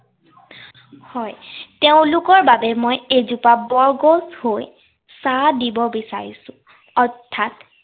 তেওঁলোকৰ বাবে মই এজোপা বৰগছ হৈ ছাঁ দিব বিচাৰিছো। অৰ্থাৎ